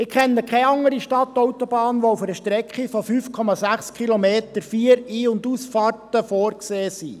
– Ich kenne keine andere Stadtautobahn, bei welcher auf einer Strecke von 5,6 Kilometern Länge vier Ein- und Ausfahrten vorgesehen sind.